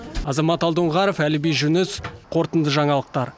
азамат алдоңғаров әліби жүңіс қорытынды жаңалықтар